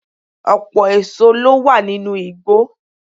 Ọpọ̀ èso ló wà nínú igbó